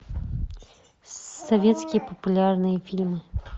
советские популярные фильмы